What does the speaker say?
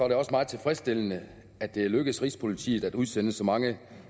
det også meget tilfredsstillende at det lykkedes rigspolitiet at udsende så mange